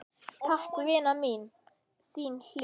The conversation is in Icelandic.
Takk, vina mín, þín Hlín.